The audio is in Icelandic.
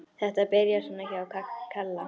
Þetta byrjaði svona hjá Kalla.